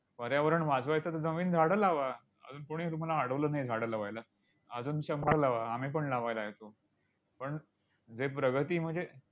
पर्यावरण वाचवायचं असेल, तर नवीन झाडं लावा. अजून कोणी तुम्हाला अडवलं नाही झाडं लावायला. अजून शंभर लावा, आम्हीपण लावायला येतो. पण जे प्रगती म्हणजे